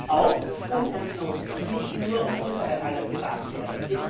Es geht auch um Herrn Snowden und nicht nur um unser aller Privatsphäre.